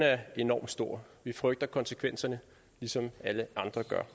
er enormt stor vi frygter konsekvenserne ligesom alle andre gør